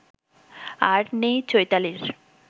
আর নেই চৈতালির